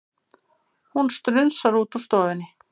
Hún strunsar út úr stofunni.